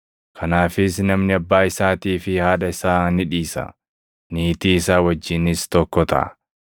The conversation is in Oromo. ‘Kanaafis namni abbaa isaatii fi haadha isaa ni dhiisa; niitii isaa wajjinis tokko taʼa;